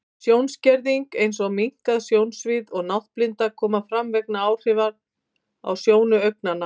Sjónskerðing, eins og minnkað sjónsvið og náttblinda, koma fram vegna áhrifa á sjónu augnanna.